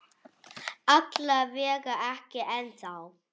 Alla vega ekki ennþá.